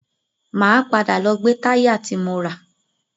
Máa padà lọ gbe táyà ti mo rà.